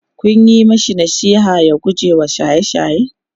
Kun Yi mashi nasiha ya gujewa shaye shaye?